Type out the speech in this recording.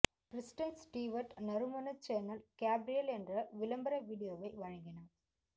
Kristen Stewart நறுமண Chanel Gabrielle என்ற விளம்பர வீடியோவை வழங்கினார்